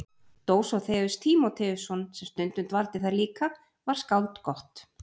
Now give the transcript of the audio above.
Dósóþeus Tímóteusson sem stundum dvaldi þar líka var skáld gott.